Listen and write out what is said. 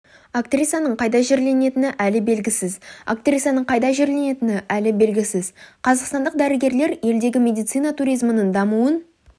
актрисаның қайда жерленетіні әлі белгісіз актрисаның қайда жерленетіні әлі белгісіз қазақстандық дәрігерлер елдегі медицина туризмінің дамуын